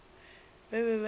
ba be ba ile ba